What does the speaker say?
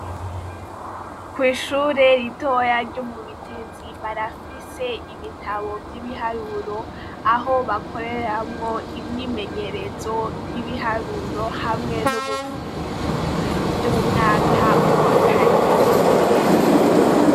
Kwishure ritoyi ryo mu Bitezi barafise ibitabu vyibiharuro aho bakoreramwo imyimyerezo yibiharuro hamwe nubufindo vyumwaka wakane.